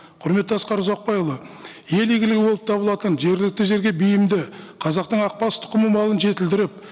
құрметті асқар ұзақбайұлы ел игілігі болып табылатын жергілікті жерге бейімді қазатың ақбас тұқымы малын жетілдіріп